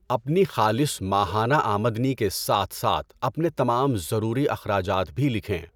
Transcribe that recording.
اپنی خالص ماہانہ آمدنی کے ساتھ ساتھ اپنے تمام ضروری اخراجات بھی لکھیں۔